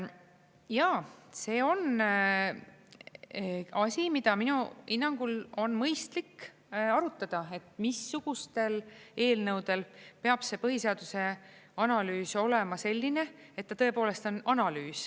Jaa, see on asi, mida minu hinnangul on mõistlik arutada, et missugustel eelnõudel peab see põhiseaduse analüüs olema selline, et ta tõepoolest on analüüs.